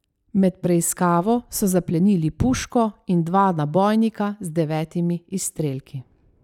Med preiskavo so zaplenili puško in dva nabojnika z devetimi izstrelki.